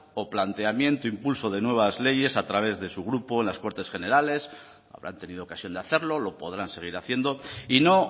o planteamiento e impulso de nuevas leyes a través de su grupo en las cortes generales habrán tenido ocasión de hacerlo lo podrán seguir haciendo y no